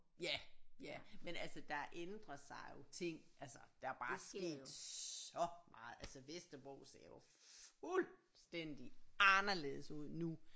Ja ja men altså der er ændret sig jo ting altså der er bare sket så meget altså Vesterbro ser jo fuldstændig anderledes ud nu